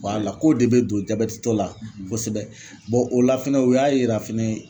ko de bɛ don jabɛtitɔ la kosɛbɛ o la fɛnɛ o y'a yira fɛnɛ